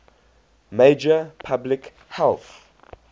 major public health